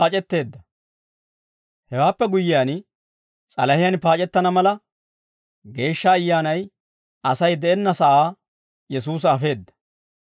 Hewaappe guyyiyaan, s'alahiyaan paac'ettana mala, Geeshsha Ayyaanay Asay de'enna sa'aa Yesuusa afeedda.